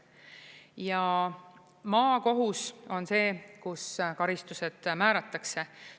Ja maakohus on see, kus karistused määratakse.